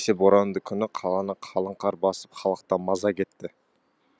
әсіресе боранды күні қаланы қалың қар басып халықтан маза кетті